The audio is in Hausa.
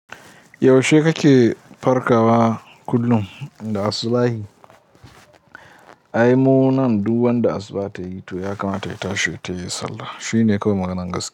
Yaushe kake farkawa kullum da asubahii? Ai munan duk wanda asuba ta yi to ya kamata ya tashi ya yi sallah. Shi ne kawai maganar gaskiya.